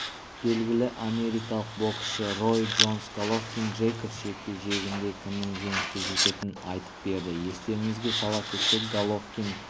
белгілі америкалық боксшы рой джонс головкин-джейкобс жекпе-жегінде кімнің жеңіске жететінін айтып берді естеріңізге сала кетсек головкин